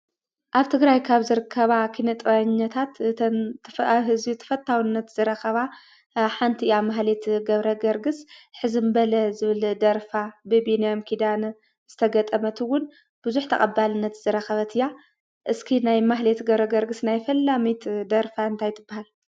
ኣብ ትግራይ ካብ ዝርከባ ኪነ-ጥበበኛታት እተን ኣብ ህዝቢ ተፈታውነት ካብ ዝረከባ ሓንቲ እያ ማህሌት ገብረገርግስ ሕዝም በለ ዝብል ደርፋ ብቢንያም ኪዳነ ዝተገጠመት እውን ብዙሕ ተቀባልነት ዝረከበት እያ ። እስኪ ናይ ማህሌት ገብረገርግስ ናይ ፈላመይቲ ደርፋ እንታይ ትበሃል ?